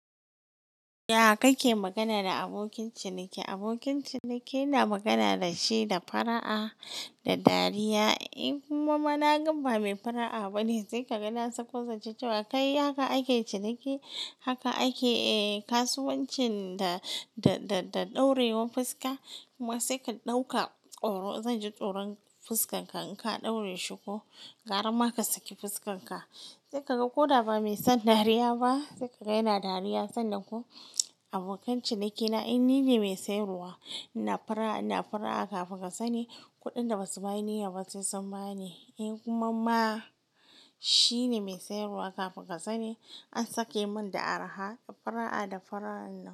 Ya kake magana da abokin ciniki? Abokin ciniki na magana dashi da fara'a da dariya. In kuma ma naga bamai fara'a ba ne, sai kaga na sako zance cewa kai haka ake ciniki, haka ake kasuwancin da, da, da ɗorewan fuska. Kuma sai ka ɗauka tsoro, zan ji tsoron fuskanka in ka ɗore shi ko ƙarama ka saki fuskanka. Sai kaga koda ba mai son dariya ba, sai ka ga yana dariya sanna ko abokan cinikina in ni ne mai siyarwa, ina fara'a, ina fara'a kafin ka sani kuɗin da basu ma niyya ba sai sun bani. In kuma ma shi ne mai siyarwa kafin ka sani an sake mun da araha, fara'a da fara'a na.